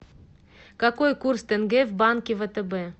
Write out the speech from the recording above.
какой курс тенге в банке втб